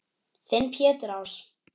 Þinn Pétur Ás.